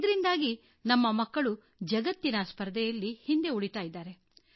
ಇದರಿಂದಾಗಿ ನಮ್ಮ ಮಕ್ಕಳು ಜಗತ್ತಿನ ಸ್ಪರ್ಧೆಯಲ್ಲಿ ಹಿಂದೆ ಉಳಿಯುತ್ತಾರೆ